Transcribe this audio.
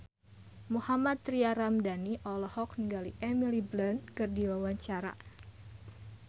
Mohammad Tria Ramadhani olohok ningali Emily Blunt keur diwawancara